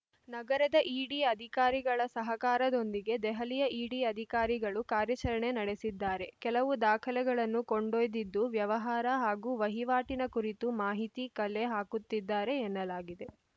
ನಗರದ ಇಡಿ ಅಧಿಕಾರಿಗಳ ಸಹಕಾರದೊಂದಿಗೆ ದೆಹಲಿಯ ಇಡಿ ಅಧಿಕಾರಿಗಳು ಕಾರ್ಯಾಚರಣೆ ನಡೆಸಿದ್ದಾರೆ ಕೆಲವು ದಾಖಲೆಗಳನ್ನು ಕೊಂಡೊಯ್ದಿದ್ದು ವ್ಯವಹಾರ ಹಾಗೂ ವಹಿವಾಟಿನ ಕುರಿತು ಮಾಹಿತಿ ಕಲೆ ಹಾಕುತ್ತಿದ್ದಾರೆ ಎನ್ನಲಾಗಿದೆ